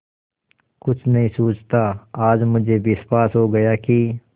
कुछ नहीं सूझता आज मुझे विश्वास हो गया कि